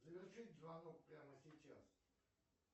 завершить звонок прямо сейчас